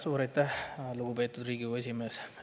Suur aitäh, lugupeetud Riigikogu esimees!